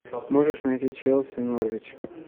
можешь найти челси норвич